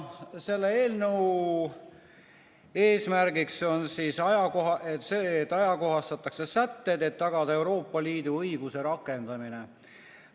Selle eelnõu eesmärk on see, et ajakohastatakse sätted, et tagada Euroopa Liidu õiguse rakendamine.